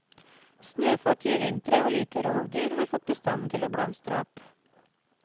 Snøfattige vintre og lite rovdyr har fått bestanden til å blomstre opp.